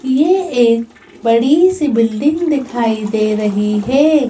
ये एक बड़ी सी बिल्डिंग दिखाई दे रही है।